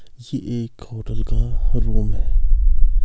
यह एक होटल का रूम है।